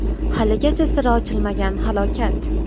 Haligacha siri ochilmagan halokat.